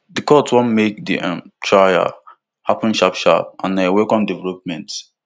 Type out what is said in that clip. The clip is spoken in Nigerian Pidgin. di court want make di um trial happun sharpsharp and na a welcome development